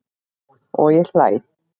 Og ég hlæ.